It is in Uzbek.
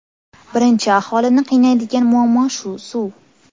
Birinchi aholini qiynaydigan muammo shu suv.